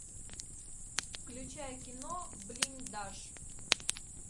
включай кино блиндаж